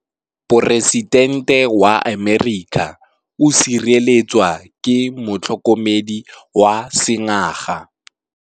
Poresitêntê wa Amerika o sireletswa ke motlhokomedi wa sengaga.